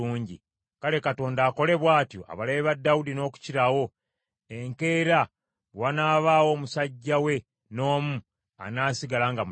Kale Katonda akole bw’atyo abalabe ba Dawudi n’okukirawo, enkeera bwe wanaabaawo omusajja we n’omu anaasigala nga mulamu.”